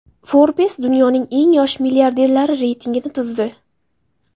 Forbes dunyoning eng yosh milliarderlari reytingini tuzdi .